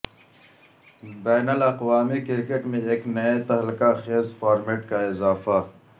بین الاقوامی کرکٹ میں ایک نئے تہلکہ خیز فارمیٹ کا اضافہ